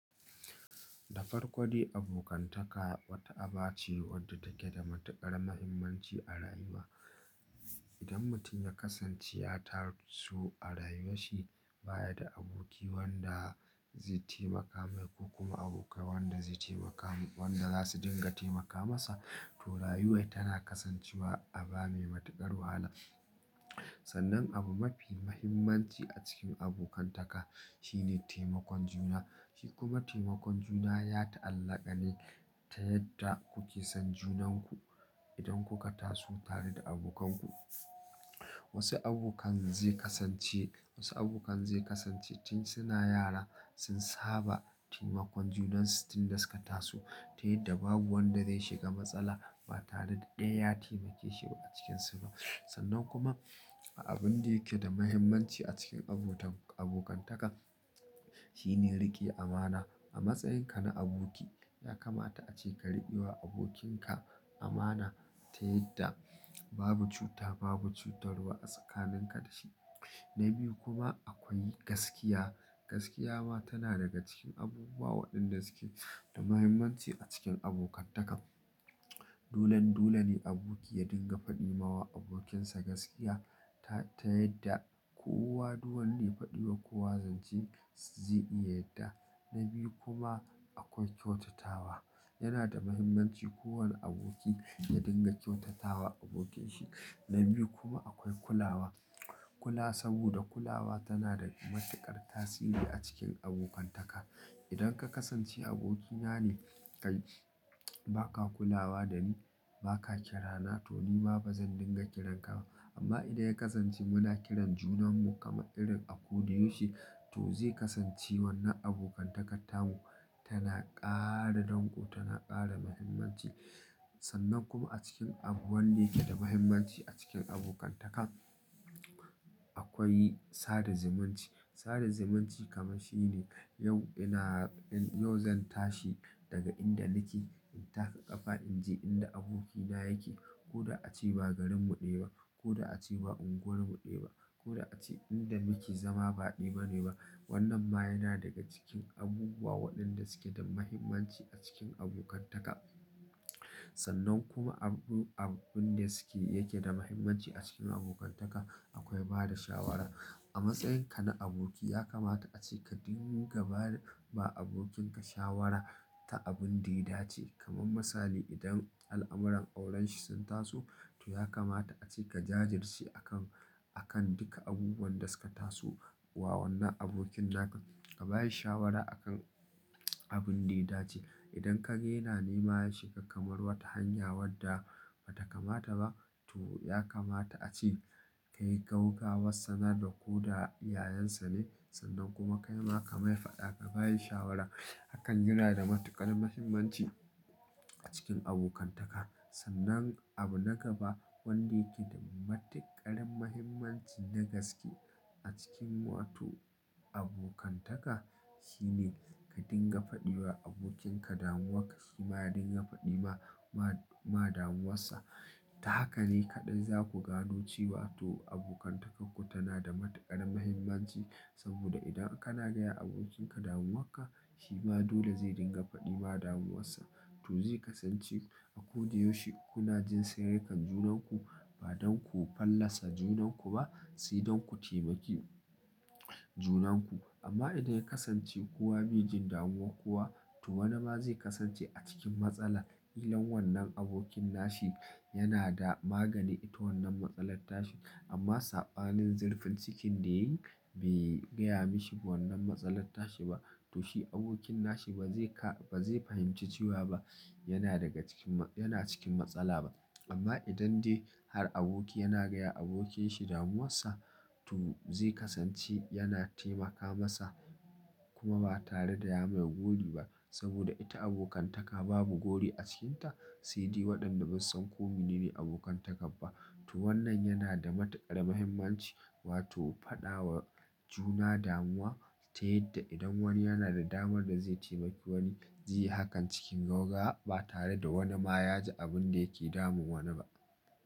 Dafarko dai abokantaka wata aba ce wadda take da matukar muhimmanci a rayuwa. Idan mutum ya kasance ya taso a rayuwar shi baya da aboki wanda zai taimaka mai ko kuma abokai wanda zai taimaka wanda za su dinga taimaka masa, to rayuwar tana kasancewa aba mai matukar wahala. Sannan abu mafi muhimmanci a cikin abokantaka shine taimakon juna. Shi kuma taimakon juna ya ta'allaka ne ta yadda kuke son junanku idan kuka taso tare da abokanku. Wasu abokan zai kasance, wasu abokan zai kasance tun suna yara sun saba taimakon junansu tun da suka tasu ta yadda babu wanda zai shiga matsala ba tare da daya ya taimake shi ba a cikinsu ba. Sannan kuma abin da yake da muhimmanci a cikin abota-- abokantaka shine rike amana. A matsayinka na aboki ya kamata ace ka rike wa abokinka amana ta yadda babu cuta, babu cutarwa a tsakaninka da shi. Na biyu kuma akwai gaskiya. Gaskiya ma tana daga cikin abubuwa waɗanda suke da muhimmanci a cikin abokantaka. Dolen dole ne aboki ya dinga faɗi ma abokinsa gaskiya ta, ta yadda kowa duk wanda ya faɗi wa kowa zance zai iya yadda. Na biyu kuma akwai kyautatawa. Yana da muhimmanci kowane aboki ya dinga kyautatawa abokinsa. Na biyu kuma akwai kulawa. Kula saboda kulawa tana da matuƙar tasiri a cikin abokantaka. Idan ka kasance abokina ne kai ba ka kulawa da ni, ba ka kira na to ni ma ba zan dinga kiranka ba. Amma idan ya kasance muna kiran junan mu kamar irin a ko da yaushe to zai kasance wannan abokantakatarmu tana ƙara danƙo, tana ƙara muhimmanci. Sannan kuma a cikin abu wanda yake da muhimmanci a cikin abokantaka akwai sada zumunci. Sada zimanci kamar shine yau ina, yau zan tashi daga inda nake in taka ƙafa in je inda abokina yake ko da a ce ba garinmu ɗaya ba, ko da a ce ba unguwarmu ɗaya ba, ko da a ce inda muke zama ba ɗaya bane ba. Wannan ma yana daga cikin abubuwa waɗanda suke da muhimmanci a cikin abokantaka. Sannan kuma abu, abin da suke yake da muhimmanci a cikin abokantaka akwai bada shawara. A matsayinka na aboki ya kamata ace ka dinga bada ba abokinka shawara ta abin da ya dace. Kaman misali idan al'amuran aurenshi sun taso to ya kamata ace ka jajirce a kan, a kan duka abubuwan da suka taso wa wannan abokin naka ka ba shi shawara a kan abin da ya dace. Idan ka ga yana neman shi ga kamar wata hanya wadda ba ta kamata ba to ya kamata ace ka yi gaugawar sannan da ko da yayansa ne sannan kuma ka yi ma ka mai fada ka ba shi shawara. Hakan yana da matuƙar muhimmanci a cikin abokantaka. Sannan abu na gaba wanda yake da matuƙara muhimmanci na gaske a cikin wato abokantaka shine ka dinga faɗi wa abokinka damuwarka shi ma ya dinga faɗi ma, ma, ma damuwarsa. Ta haka ne kaɗai za ku gano cewa to abokantakarku tana da matuƙar muhimmanci saboda idan kana gaya abokinka damuwarka shi ma dole zai dinga faɗi ma damuwarsa. To zai kasance a ko da yaushe kuna jin sirrikan junanku ba don ku fallasa junanku ba si don ku taimaki junanku. Amma idan ya kasance kowa bai jin damuwa kuwa to wani ma zai kasance a cikin matsala. Idan wannan abokin nashi yana da magani ita wannan matsalar tashi amma saɓanin zurfin cikin da yayi bai gaya mishi wannan matsalar tashi ba to shi abokin nashi ba zai ka-- ba zai fahimci cewa ba yana daga cikin ma-- yana cikin matsala ba. Amma idan dai har aboki yana gaya abokin shi damuwarsa to zai kasance yana taimaka masa kuma ba tare da ya mai gori ba saboda ita abokantaka babu gori a cikinta. Sai dai waɗanda sun ko minene abokantaka ba. To wannan yana da matuƙar muhimmanci wato faɗawa juna damuwa ta yadda idan wani yana da damar da zai taimaki wani zai yi hakan cikin gaugawa ba tare da wani ma ya ji abun da yake damun wani ba.